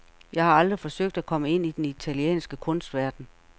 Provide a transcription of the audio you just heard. Jeg har aldrig forsøgt at komme ind i den italienske kunstverden.